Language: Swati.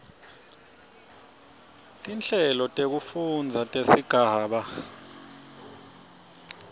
tinhlelo tekufundza tesigaba